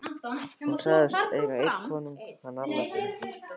Hún sagðist eiga einn kóng, hann Alla sinn.